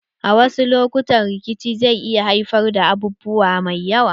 A wasu lokutan rikici zai iya haifar da abubuwa mai yawa.